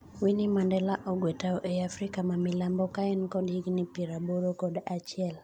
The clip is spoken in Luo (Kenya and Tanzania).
Winnie Mandela ogwee tao ei Afrika mamilambo ka en kod higni piero aboro kod achiel.